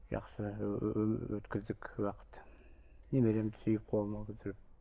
жақсы өткіздік уақыт немеремді сүйіп қолыма көтеріп